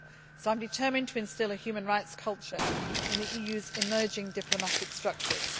too. So I am determined to instil a human rights culture in the EU's emerging diplomatic structures.